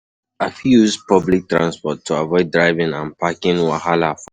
I fit use public transport to avoid driving and parking wahala for road.